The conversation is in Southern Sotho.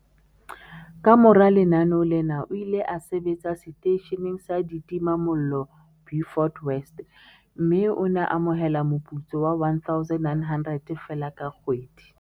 Kamora lenaneo lena o ile a sebetsa seteisheneng sa ditimamollo Beaufort West, mme o ne a amohela moputso wa R1 900 feela ka kgwedi.